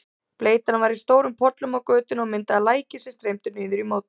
Bleytan var í stórum pollum á götunni og myndaði læki sem streymdu niður í móti.